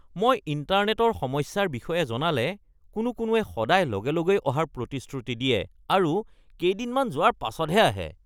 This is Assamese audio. মই ইণ্টাৰনেটৰ সমস্যাৰ বিষয়ে জনালে কোনো কোনোৱে সদায় লগে লগেই অহাৰ প্ৰতিশ্ৰুতি দিয়ে আৰু কেইদিনমান যোৱাৰ পাছতহে আহে।